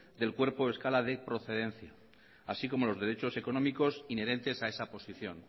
del cuerpo o escala de procedencia así como los derechos económicos inherentes a esa posición